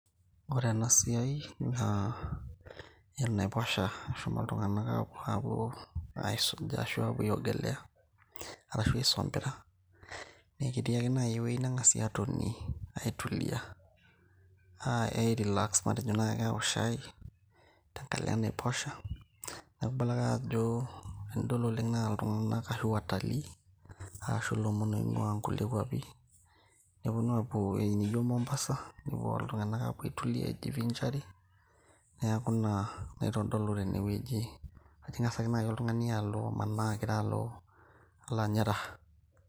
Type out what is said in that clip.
ore ena siai naa enaiposha eshomo iltung'anak apuo aisuja ashu apuo aiogelea arashu aisompira neketii ake naaji ewueji neng'asi atonie aitulia ae relax matejo naaji awok shai tenkalo enaiposha neku ibala ake ajo tenidol oleng naa iltung'anak ashu watalii ashu ilomon oing'ua inkulie kuapi neponu apuo ewueji nijo mombasa nepuo iltung'anak apuo aitulia aijivinjari neaku ina naitodolu tenewueji kajo ing'as ake naaji oltung'ani alo amanaa alo ,alo anya raha.